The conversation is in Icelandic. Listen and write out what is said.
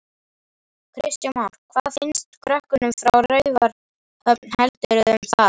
Kristján Már: Hvað finnst krökkum frá Raufarhöfn heldurðu um það?